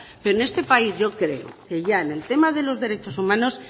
pero en este país yo creo que ya en el tema de los derechos humanos